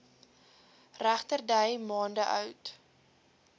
regterdy maande oud